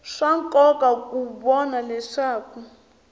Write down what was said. swa nkoka ku vona leswaku